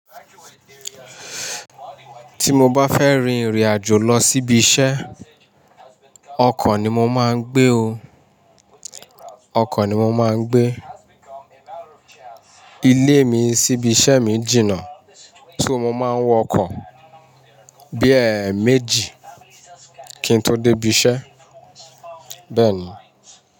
Tí mo bá fẹ́ rin ìrìn àjò lọ síbi iṣẹ́, ọkọ̀ ni mo máa ń gbé o. Ọkọ̀ ni mo máa ń gbé. Ilé mi síbi iṣẹ́ mi jìnnà, so mo máa ń wọ ọkọ̀ bí èé méjì kí n tó dé ibi iṣẹ́. Bẹ́ẹ̀ ni.